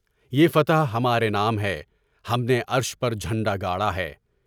یہ فتح ہمارے نام ہے، ہم نے عرش پر جھنڈا گاڑا ہے۔